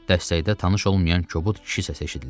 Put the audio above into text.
Dəstəkdə tanış olmayan kobud kişi səsi eşidildi.